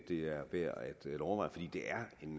det er værd at overveje fordi det er en